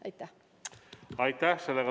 Aitäh!